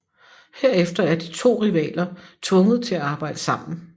Herefter er de to rivaler tvunget til at arbejde sammen